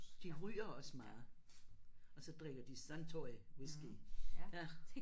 De ryger også meget. Og så drikker de Suntory Whisky ja